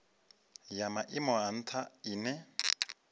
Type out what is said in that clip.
ya maimo a ntha ine